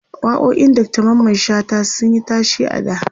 waƙoƙin Dr Mamman shata sunyi tashe a da